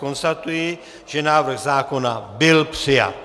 Konstatuji, že návrh zákona byl přijat.